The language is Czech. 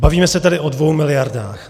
Bavíme se tedy o dvou miliardách.